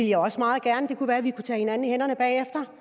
jeg også meget gerne kan være at vi kan tage hinanden i hænderne bagefter